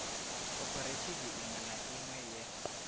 khophorethivi iṅwe na iṅwe ye